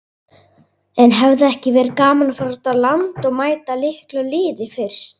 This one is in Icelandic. En hefði ekki verið gaman að fara út á land og mæta litlu liði fyrst?